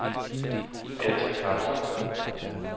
Birtha Carlson